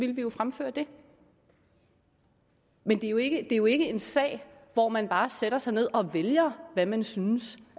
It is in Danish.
vi jo fremføre det men det er jo ikke jo ikke en sag hvor man bare sætter sig ned og vælger hvad man synes